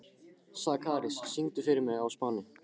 Sakarías, syngdu fyrir mig „Á Spáni“.